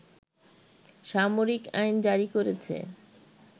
সামরিক আইন জারি করেছে